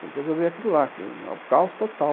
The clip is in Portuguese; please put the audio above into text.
Tem que resolver aquilo lá, que é um caos total.